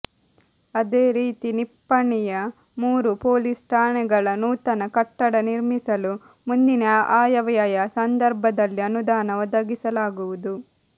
ಅದೇ ರೀತಿ ನಿಪ್ಪಾಣಿಯ ಮೂರು ಪೊಲೀಸ್ ಠಾಣೆಗಳ ನೂತನ ಕಟ್ಟಡ ನಿರ್ಮಿಸಲು ಮುಂದಿನ ಆಯವ್ಯಯ ಸಂದರ್ಭದಲ್ಲಿ ಅನುದಾನ ಒದಗಿಸಲಾಗುವುದು